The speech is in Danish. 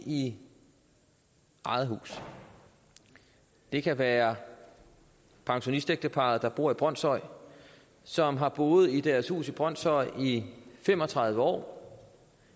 i eget hus det kan være pensionistægteparret der bor i brønshøj og som har boet i deres hus i brønshøj i fem og tredive år